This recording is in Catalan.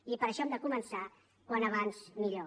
i per això hem de començar com més aviat millor